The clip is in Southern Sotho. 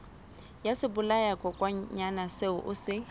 ya sebolayakokwanyana seo o se